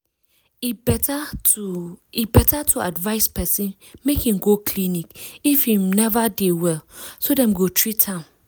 e better to e better to advise person make im go clinic if im neva dey well so dem go treat am